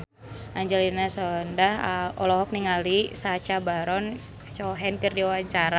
Angelina Sondakh olohok ningali Sacha Baron Cohen keur diwawancara